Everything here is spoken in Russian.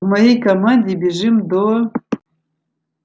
по моей команде бежим до